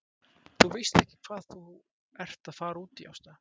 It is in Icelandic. Þú veist ekki hvað þú ert að fara út í Ásta!